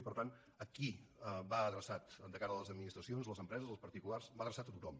i per tant a qui va adreçat de cara a les administracions a les empreses als particulars va adreçat a tothom